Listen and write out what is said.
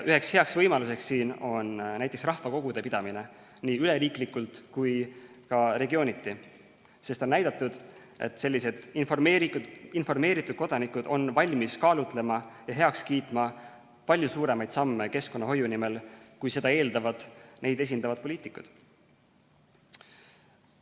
Üks hea võimalus on näiteks rahvakogude pidamine, nii üleriiklikult kui ka regiooniti, sest on näidatud, et informeeritud kodanikud on keskkonnahoiu nimel valmis kaalutlema ja heaks kiitma palju suuremaid samme, kui seda eeldavad neid esindavad poliitikud.